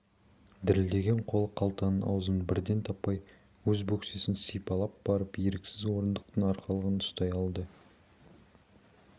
дірілдеген қолы қалтаның аузын бірден таппай өз бөксесін сипалап барып еріксіз орындықтың арқалығынан ұстай алады